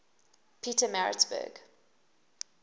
petermaritzburg